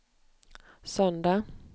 söndag